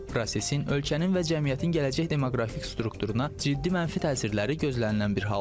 Prosesin ölkənin və cəmiyyətin gələcək demoqrafik strukturuna ciddi mənfi təsirləri gözlənilən bir haldır.